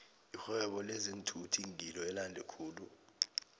irhwebo lezeenthuthi ngilo elande khulu